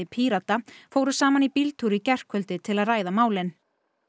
Pírata fóru saman í bíltúr í gærkvöldi til að ræða málin